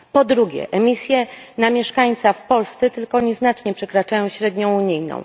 Po drugie, emisje na mieszkańca w Polsce tylko nieznacznie przekraczają średnią unijną.